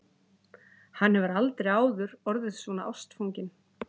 Hann hefur aldrei áður orðið svona ástfanginn.